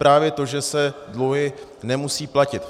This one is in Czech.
Právě to, že se dluhy nemusí platit.